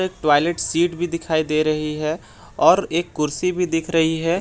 एक toilet seat भी दिखाई दे रही है और एक कुर्सी भी दिख रही है।